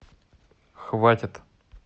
хватит